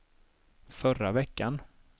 förra veckan